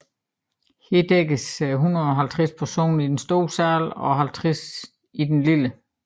Her kan dækkes til 150 personer i den store sal og 50 i den lille